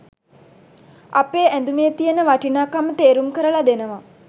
අපේ ඇඳුමේ තියෙන වටිනාකම තේරුම් කරලා දෙනවා.